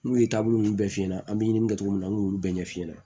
N'u ye taabolo ninnu bɛɛ f'i ɲɛna an bɛ ɲininka cogo min na an y'olu bɛɛ ɲɛfi ɲɛna